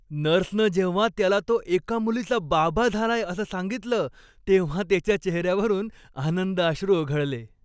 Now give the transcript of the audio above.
नर्सनं जेव्हा त्याला तो एका मुलीचा बाबा झालाय असं सांगितलं, तेव्हा त्याच्या चेहऱ्यावरून आनंदाश्रू ओघळले.